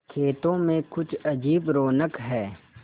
खेतों में कुछ अजीब रौनक है